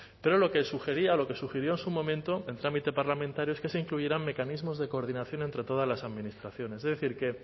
pero lo que sugería o lo que sugirió en su momento en trámite parlamentario es que se incluyeran mecanismos de coordinación entre todas las administraciones es decir que